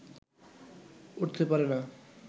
উঠতে পারে না